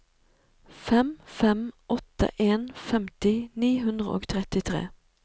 fem fem åtte en femti ni hundre og trettitre